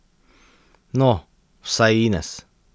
No, vsaj Ines.